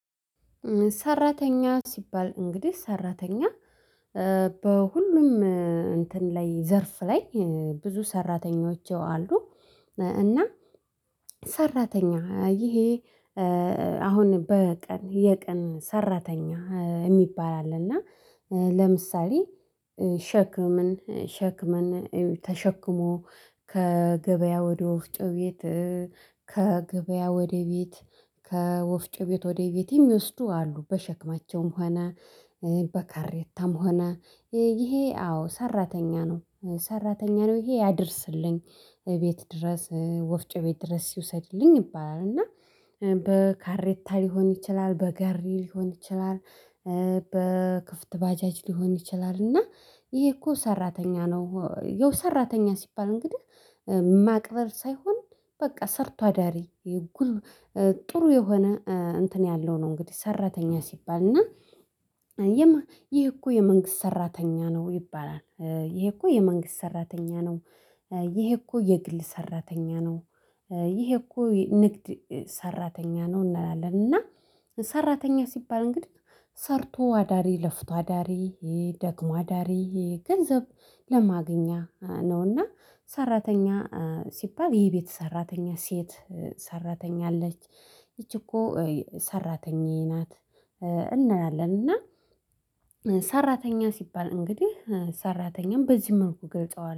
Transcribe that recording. ሰራተኛ ሲባል እንግዲህ ሰራተኛ በሁሉም እንትን ላይ ዘርፍ ላይ ብዙ ሰራተኞች አሉ። እና ሰራተኛ ይሄ አሁን በቀን የቀን ሰራተኛ የሚባል አለ። እና ለምሳሌ ሸክምን ሸክመን ተሸክሞ ከገበያ ወደ ወፍጮ ቤት ከገበያ ወደ ቤት ከወፍጮ ቤት ወደ ቤት የሚወስዱ አሉ። በሸክማቸውም ሆነ በካሬታም ሆነ ይሄ አዎ ነው ሰራተኛ ነው ይሄ ያድርስልኝ ቤት ድረስ ወፍጮ ቤት ድረስ ይውሰድልኝ ይባላል። እና በካሬታ ሊሆን ይችላል በጋሪ ሊሆን ይችላል። በክፍት ባጃጅ ሊሆን ይችላል እና ይሄ እኮ ሰራተኛ ነው። ያው ሰራተኛ ሲባል እንግዲህ ማክበር ሳይሆን በቃ ሰርቶ አዳሪ። ጥሩ የሆነ እንትን ያለው ነው። እንግዲህ ሰራተኛ ሲባል እና ይሄ እኮ የመንግስት ሰራተኛ ነው ይባላል። ይሄ እኮ የመንግስት ሰራተኛ ነው። ይሄ እኮ የግል ሰራተኛ ነው። ይሄ እኮ ንግድ ሰራተኛ ነው እንላለን። እና ሰራተኛ ሲባል እንግዲህ ሰርቶ አዳሪ ለፍቶ አዳሪ ይሄ ደክሞ አዳሪ ይሄ ገንዘብ ለማግኛ ነውና ሰራተኛ ሲባል የቤት ሰራተኛ ሴት ሰራተኛ አለች ይቺ እኮ ሰራተኛዬ ናት። እንላለን እና ሰራተኛ ሲባል እንግዲህ ሰራተኛን በዚህ መልኩ እገልጸዋለሁ